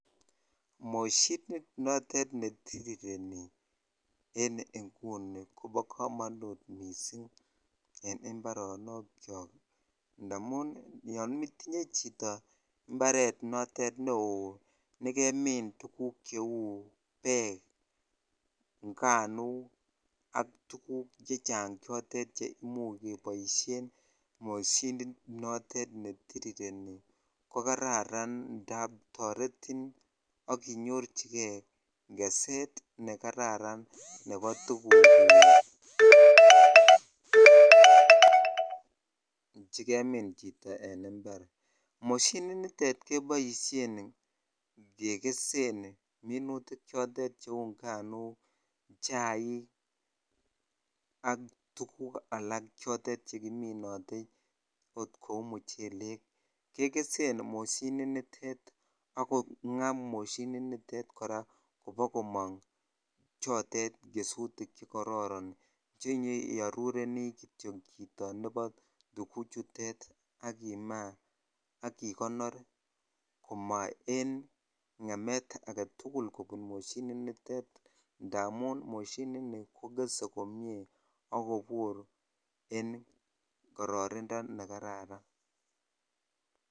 Moshinit notet netirireni en nguni kobo komonut missing en mbaronok kyok ndamun yon itinye chito mbaret notet neoo nekemin tuguk cheu beek, nganuk ak tuguk chechang chotet chemuch keboisien moshinit notet netirireni ko kararan ndap toretin ak inyorchigee keset nekararan nebo tuguk chekemin chito en mbar. Moshinit nitet keboisien kekesen minutik choton cheu nganuk chaik ak tuguk alak chekiminote ot kou muchelek kekesen moshinit nitet ak kong'aa moshinit nitet kora koba komong chotet kesutik chekororon chenyeiorurenii kityo chito nebo tuguk chutet ak imaa ak ikonor komo en ng'emet aketugul kobun moshinit nitet amun moshinit niton kokese komie ak kobur en kororindo nekararan